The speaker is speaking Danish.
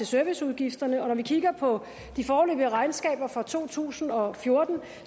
serviceudgifterne og når vi kigger på de foreløbige regnskaber for to tusind og fjorten